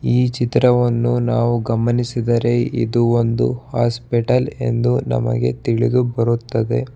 ಈ ಚಿತ್ರವನ್ನು ನಾವು ಗಮನಿಸಿದರೆ ಇದು ಒಂದು ಹಾಸ್ಪಿಟಲ್ ಎಂದು ನಮಗೆ ತಿಳಿದು ಬರುತ್ತದೆ.